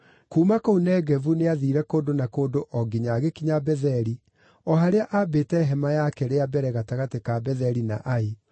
Kuuma kũu Negevu nĩathiire kũndũ na kũndũ o nginya agĩkinya Betheli, o harĩa aambĩte hema yake rĩa mbere gatagatĩ ka Betheli na Ai,